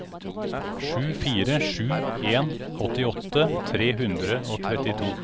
sju fire sju en åttiåtte tre hundre og trettito